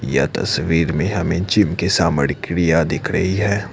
यह तस्वीर में हमें जिम की सामग्रियां दिख रही है।